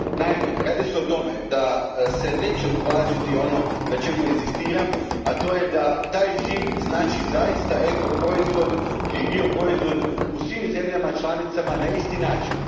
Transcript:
Naime radi se o tome da se neće uvažiti ono na čemu inzistiram, a to je da taj žig znači zaista ekoproizvod ili bioproizvod u svim zemljama članicama na isti način.